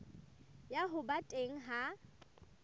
ya ho ba teng ha